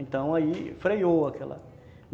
Então aí freiou aquela.